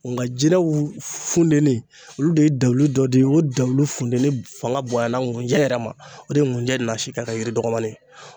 Nka jinɛw funteni olu de ye dawuli dɔ di o dalulu funteni fanga bonya la ŋujɛ yɛrɛ ma, o de ye ŋujɛ nasi ka kɛ yiri dɔgɔnin ye.